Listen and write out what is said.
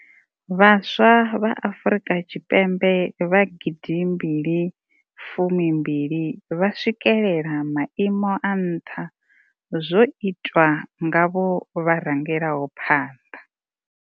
Vhaswa vha Afrika Tshipembe vha gidimbili fumimbili vha swikela maimo a nṱha zwo itiwa nga vho vha rangelaho phanḓa.